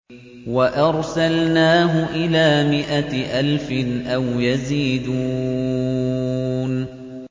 وَأَرْسَلْنَاهُ إِلَىٰ مِائَةِ أَلْفٍ أَوْ يَزِيدُونَ